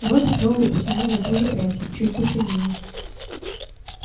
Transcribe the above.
робби снова потянул за ту же прядь чуть посильнее